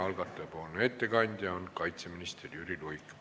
Algataja ettekandja on kaitseminister Jüri Luik.